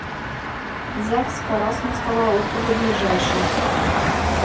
загс карасунского округа ближайший